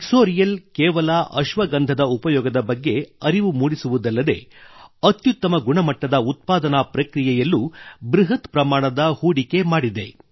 ಇಕ್ಸೊರಿಯಲ್ ಕೇವಲ ಅಶ್ವಗಂಧದ ಉಪಯೋಗದ ಬಗ್ಗೆ ಅರಿವು ಮೂಡಿಸುವುದಲ್ಲದೆ ಅತ್ಯುತ್ತಮ ಗುಣಮಟ್ಟದ ಉತ್ಪಾದನಾ ಪ್ರಕ್ರಿಯೆಯಲ್ಲೂ ಬೃಹತ್ ಪ್ರಮಾಣದ ಹೂಡಿಕೆ ಮಾಡಿದೆ